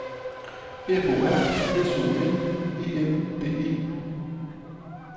F O R S O N E N D E